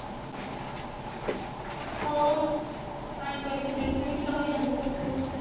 ଓହୋ! ହୁଁ ପାଣି କରି ପୁରେଇ ଥିବେ କି ଦହି ହାଣ୍ଡି ଧରିଥିବେ।